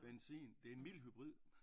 Benzin det en mild hybrid